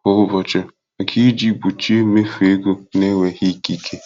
kwa ụbọchị maka iji gbochie mmefu ego na-enweghị ikike.